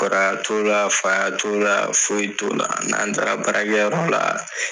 Kɔrɔya t'o la faya t'o la foyi t'o la n'an taara baara kɛ yɔrɔ la